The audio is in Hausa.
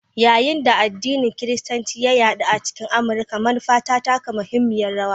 Yayin da addinin Kiristanci ya yaɗu a cikin Amurka, manufa ta taka muhimmiyar rawa.